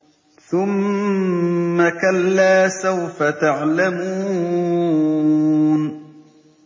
ثُمَّ كَلَّا سَوْفَ تَعْلَمُونَ